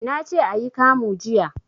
Nace ayi kamu jiya